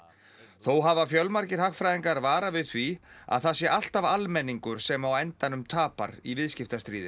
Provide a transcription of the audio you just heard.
þó hafa fjölmargir hagfræðingar varað við því að það sé alltaf almenningur sem á endanum tapar í viðskiptastríði